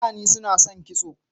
Falani su na son kitso